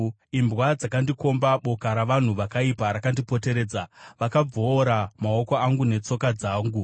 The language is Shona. Imbwa dzakandikomba; boka ravanhu vakaipa rakandipoteredza, vakabvoora maoko angu netsoka dzangu.